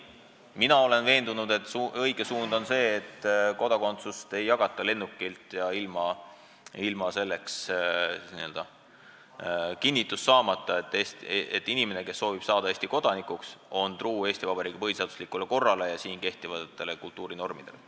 Mina olen veendunud, et õige suund on see, et kodakondsust ei jagata lennukilt, ilma kinnituseta, et inimene, kes soovib saada Eesti kodanikuks, on truu Eesti Vabariigi põhiseaduslikule korrale ja siin kehtivatele kultuurinormidele.